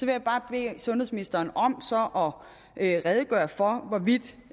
jeg bare bede sundhedsministeren om at redegøre for hvorvidt